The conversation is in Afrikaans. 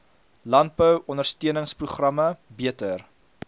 landbou ondersteuningsprogramme beter